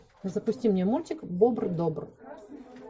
запусти мне мультик бобр добр